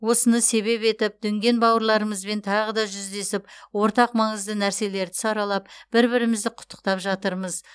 осыны себеп етіп дүнген бауырларымызбен тағы да жүздесіп ортақ маңызды нәрселерді саралап бір бірімізді құттықтап жатырмыз